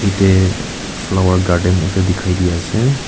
etey flower garden ekta dikhaidi ase.